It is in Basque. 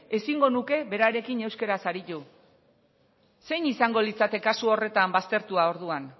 ezingo nuke berarekin euskaraz aritu zein izango litzake kasu horretan baztertua orduan